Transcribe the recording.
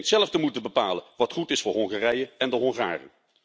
Die denkt zelf te moeten bepalen wat goed is voor Hongarije en de Hongaren.